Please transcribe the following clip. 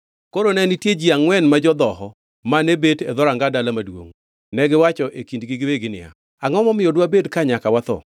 Koro ne nitie ji angʼwen ma jodhoho, mane bet e dhoranga dala maduongʼ. Negiwacho e kindgi giwegi niya, “Angʼo momiyo dwabed ka nyaka watho?